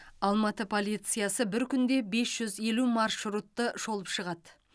алматы полициясы бір күнде бес жүз елу маршрутты шолып шығады